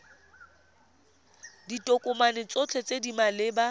ditokomane tsotlhe tse di maleba